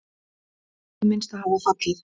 Átta hið minnsta hafa fallið.